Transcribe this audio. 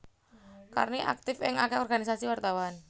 Karni aktif ing akeh organisasi wartawan